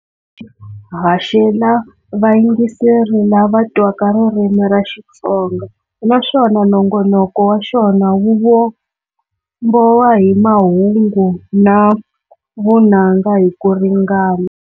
Haxela vayingiseri lava twaka ririmi ra Xitsonga, naswona nongonoko wa xona wu vumbowa hi mahungu na vunanga hi ku ringana.